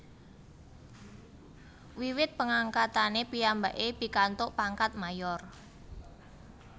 Wiwit pengangkatane piyambake pikantuk pangkat Mayor